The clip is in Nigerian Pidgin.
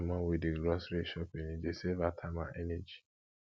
i dey help my mom with di grocery shopping e dey save her time and energy